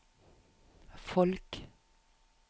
folk